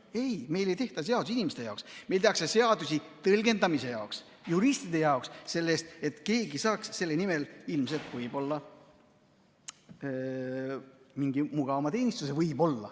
Ei, meil ei tehta seadusi inimeste jaoks, meil tehakse seadusi tõlgendamise jaoks, juristide jaoks, selle jaoks, et keegi saaks võib-olla mingi mugavama teenistuse.